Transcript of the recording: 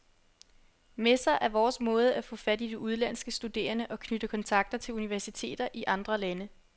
Messer er vores måde at få fat i udenlandske studerende og knytte kontakter til universiteter i andre lande.